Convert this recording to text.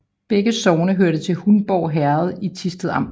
Begge sogne hørte til Hundborg Herred i Thisted Amt